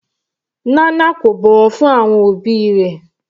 Nana kò bọ̀wọ̀ fún àwọn òbí rẹ̀.